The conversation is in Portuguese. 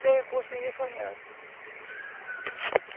Sem recurso, ninguém faz nada.